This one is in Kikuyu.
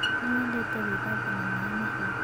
Nĩ wendete gwĩthamba na maĩ mahiũ?